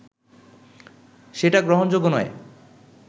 সেটা গ্রহণযোগ্য নয়